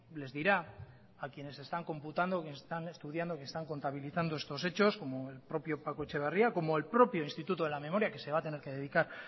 les dirá a quienes están computando a quienes están estudiando a quienes están contabilizando estos hechos como el propio paco etxeberria como el propio instituto de la memoria que se va a tener que dedicar